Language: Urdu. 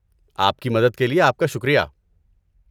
آپ کی مدد کے لیے آپ کا شکریہ۔